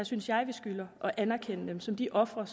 synes jeg at vi skylder at anerkende dem som de ofre